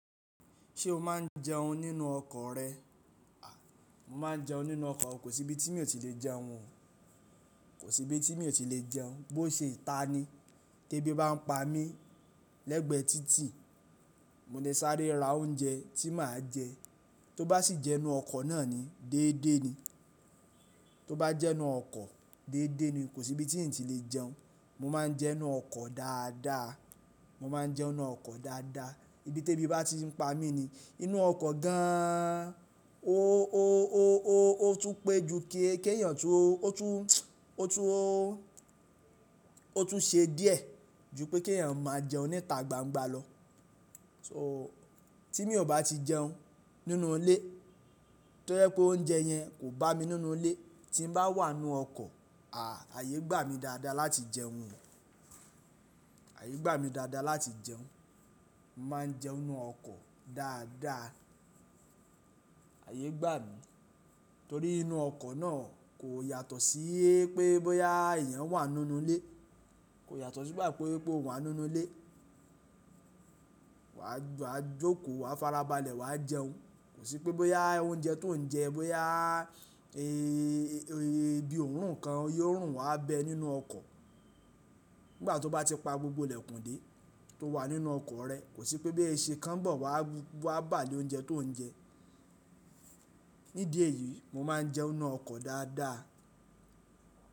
Ṣé o máa ń jẹun nínú ọkọ̀ rẹ? À, mo máa ń jẹun nínú ọkọ̀ o. Kò sí ibi tí mi ò ti lè jẹun o. Kò sí ibi tí mi ò ti lè jẹun. Bo ṣe ìta ni. Tẹ́ bí bá ń pa mí lẹ́gbẹ̀ẹ́ títì, mo lè sáré ra oúnjẹ tí màá jẹ. Tó bá sì jẹ́ inú ọkọ̀ náà ni, déédé ni. Tó bá jẹ́ inú ọkọ̀, déédé ni. Kò sí ibi tí ǹ ti lè jẹun. Mo máa ń jẹun nínú ọkọ̀ dáadáa. Mo máa ń jẹun nínú ọkọ̀ dáadáa. Ibí tẹ́ bí bá ti ń pa mí ni. Inú ọkọ̀ gan an. Ó, ó, ó, ó, ó tún pé ju kí, kí èèyàn tún, ó tún, ó tún, ó tún ṣe díẹ̀ ju pé kí èèyàn máa jẹun níta gbangba lọ. So, tí mi ò bá ti jẹun nínú ilé, tójẹ́ pé oúnjẹ yẹn kò bá mi nínú ilé, tín bá wà nínú ọkọ̀, à! Àyè gbà mí dààda láti jẹun. Ààyè gbà mí dáadáa láti jẹun. Mo máa ń jẹun nínú ọkọ̀ dáadáa. Ààyè gbà mí. Torí inú ọkọ̀ náà kò yàtọ̀ sí i pé bóyá èèyàn wà nínú ilé. Kò yàtọ̀ sí ìgbà pé po wà nínú ilé. Wa, wa jókò, wa farabalẹ̀, wa jẹun. Kò sí pé bóyá oúnjẹ tó ń jẹ, bóyá, e, e, bí òórùn kan yóò rùn wá bẹ nínú ọkọ̀. Nígbà tó bá ti pa gbogbo ìlẹ̀kùn dé, tó wà nínú ọkọ̀ rẹ kòsí pé bóyá eesin kan ń bọ̀ wá bàlé oúnjẹ tí òun jẹ nídì èyíí mo máa ń jẹun nínú ọkọ̀ dáadá.